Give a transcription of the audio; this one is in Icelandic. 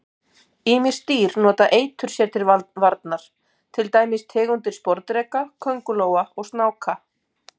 Ýmis dýr nota eitur sér til varnar, til dæmis tegundir sporðdreka, köngulóa og snáka.